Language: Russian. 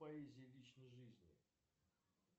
поэзия личной жизни